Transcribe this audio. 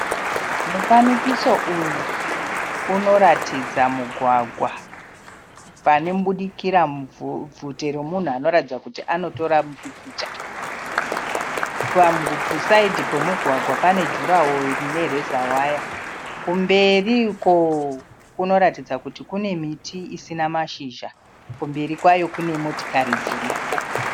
Mufanikiso uyu unoratidza mugwagwa. Panobudikira bvute remunhu anoratidza kuti anotora mupikicha. Pasaidhi pemugwagwa pane jura woro ine reza waya. Kumberi uko kunoratidza kuti Kune miti isina mashizha. Kumberi kwayo Kune motikari dziriko.